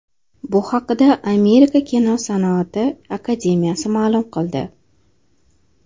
Bu haqda Amerika kinosan’ati akademiyasi ma’lum qildi .